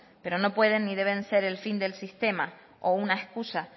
pero no pueden ni deben ser el fin del sistema o una excusa